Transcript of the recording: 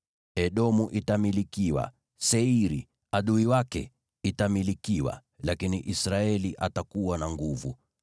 Edomu itamilikiwa, Seiri, adui wake, itamilikiwa, lakini Israeli atakuwa na nguvu.